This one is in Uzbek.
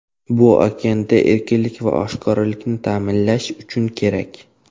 Bu okeanda erkinlik va oshkoralikni ta’minlash uchun kerak.